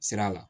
Sira la